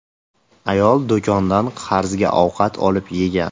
Ayol do‘kondan qarzga ovqat olib yegan.